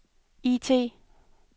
IT